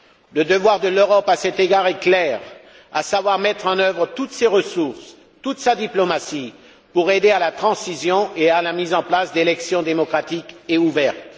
Le devoir de l'Europe à cet égard est clair à savoir mettre en œuvre toutes ses ressources, toute sa diplomatie pour aider à la transition et à la mise en place d'élections démocratiques et ouvertes.